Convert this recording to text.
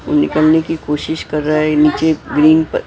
वो निकलने की कोशिश कर रहा है नीचे ग्रीन पर--